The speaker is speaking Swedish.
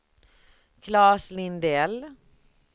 Claes Lindell